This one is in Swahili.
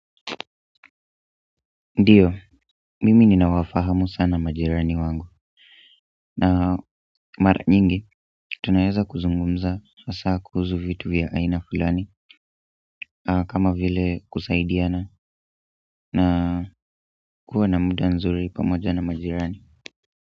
Ndiyo, mimi ninawafahamu sana majirani wangu na mara nyingi, tunaeza kuzungumza hasa kuhusu vitu vya aina fulani kama vile kusaidiana na kuwa na muda nzuri pamoja na majirani.